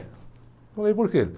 Eu falei, por quê?